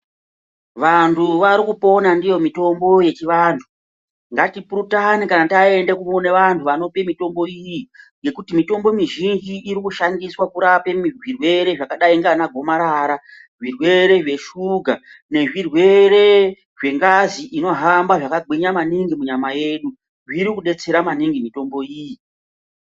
Vantu varikupona ndiyo mitombo yechivantu. Ngatipurutane kana taenda kune vantu vanopa mutombo iyi ngekuti mitombo mizhinji irikushandiswa kurape zvirwere zvakadayi nanagomarara, zvirwere zveshuga nezvirwere zvengazi inohamba zvakagwinya maningi munyama yedu. Iri kudetsera maninhi mitombo iyi.